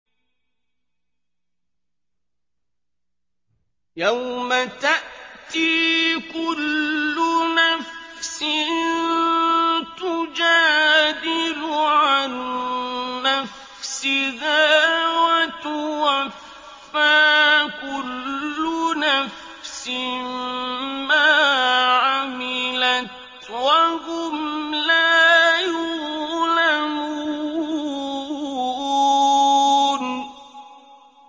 ۞ يَوْمَ تَأْتِي كُلُّ نَفْسٍ تُجَادِلُ عَن نَّفْسِهَا وَتُوَفَّىٰ كُلُّ نَفْسٍ مَّا عَمِلَتْ وَهُمْ لَا يُظْلَمُونَ